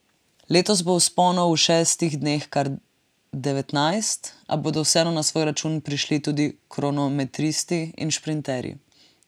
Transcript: Letos bo vzponov v šestih dneh kar devetnajst, a bodo vseeno na svoj račun prišli tudi kronometristi in šprinterji.